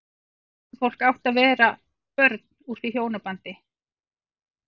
Huldufólk átti að vera börn úr því hjónabandi.